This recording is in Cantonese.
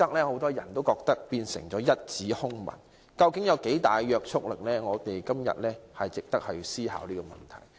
很多人覺得《規劃標準》已變成一紙空文，究竟有多大約束力是值得我們思考的問題。